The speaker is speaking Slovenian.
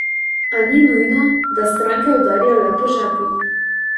A ni nujno, da stranke udarijo le po žepu.